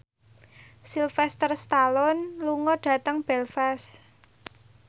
Sylvester Stallone lunga dhateng Belfast